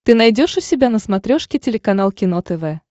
ты найдешь у себя на смотрешке телеканал кино тв